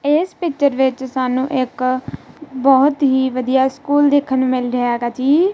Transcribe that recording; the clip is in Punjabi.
ਇਸ ਪਿਕਚਰ ਵਿੱਚ ਸਾਨੂੰ ਇੱਕ ਬਹੁਤ ਹੀ ਵਧੀਆ ਸਕੂਲ ਦੇਖਨ ਨੂੰ ਮਿਲ ਰਿਹਾ ਹੈਗਾ ਜੀ।